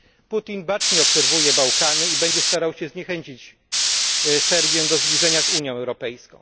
Putin bacznie obserwuje Bałkany i będzie się starał zniechęcić Serbię do zbliżenia z Unią Europejską.